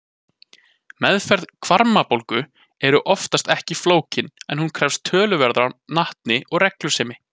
Meðferð hvarmabólgu er oftast ekki flókin en hún krefst töluverðrar natni og reglusemi.